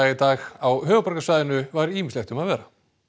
dag á höfuðborgarsvæðinu var ýmislegt um að vera